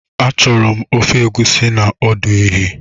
Achọrọ m ofe Egusi na ọdụ ehi